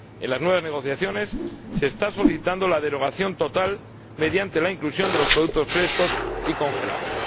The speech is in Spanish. En las nuevas negociaciones se está solicitando la derogación total mediante la inclusión de los productos frescos y congelados.